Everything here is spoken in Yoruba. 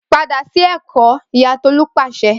Pada si Eko Iya Tolu pase